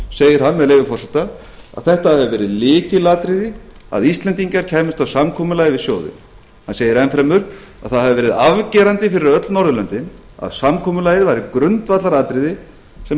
segir hann með leyfi forseta að þetta hafi verið lykilatriði að íslendingar kæmust að samkomulagi við sjóðinn hann segir enn fremur að það hafi verið afgerandi fyrir öll norðurlöndin að samkomulagið væri grundvallaratriði sem